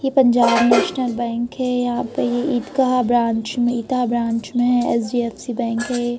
ये Punjab national bank है यह पर ये ईदगाह ईता ब्रांच में एच.डी.एफ.सी. बैंक है|